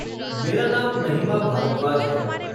मेरा नाम महिमा भारद्वाज है।